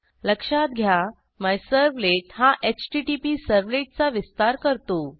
लक्षात घ्या मिझर्व्हलेट हा HttpServletचा विस्तार करतो